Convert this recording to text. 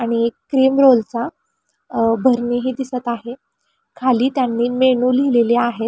आणि एक क्रीमरोल चा अ भरणीही दिसत आहे खाली त्यांनी मेनू लिहिलेले आहेत.